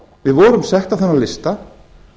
við vorum settir á þennan lista